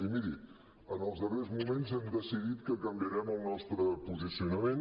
i miri en els darrers moments hem decidit que canviarem el nostre posicionament